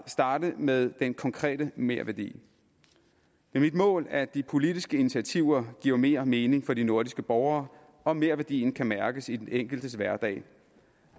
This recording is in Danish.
starte med den konkrete merværdi det er mit mål at de politiske initiativer giver mere mening for de nordiske borgere og merværdien kan mærkes i den enkeltes hverdag